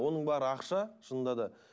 оның бәрі ақша шынында да